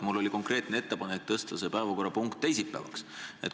Mul oli konkreetne ettepanek tõsta see päevakorrapunkt teisipäeva peale.